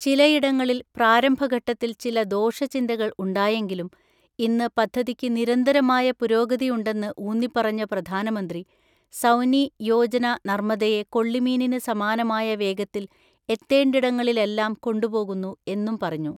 ചിലയിടങ്ങളില് പ്രാരംഭഘട്ടത്തില് ചില ദോഷചിന്തകള് ഉണ്ടായെങ്കിലും, ഇന്ന് പദ്ധതിക്ക് നിരന്തരമായ പുരോഗതിയുണ്ടെന്ന് ഊന്നിപ്പറഞ്ഞ പ്രധാനമന്ത്രി, സൗനി യോജന നർമദയെ കൊള്ളിമീനിന് സമാനമായ വേഗത്തില് എത്തേണ്ടിടങ്ങളിലെല്ലാം കൊണ്ടുപോകുന്നു എന്നും പറഞ്ഞു.